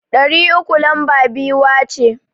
Ɗari uku lamba biyuwa ce.